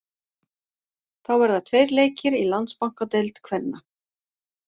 Þá verða tveir leikir í Landsbankadeild kvenna.